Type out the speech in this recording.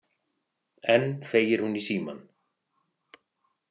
Enn þegir hún í símann.